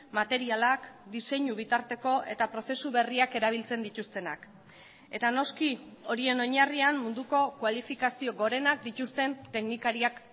materialak diseinu bitarteko eta prozesu berriak erabiltzen dituztenak eta noski horien oinarrian munduko kualifikazio gorenak dituzten teknikariak